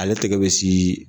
Ale tɛgɛ bɛ si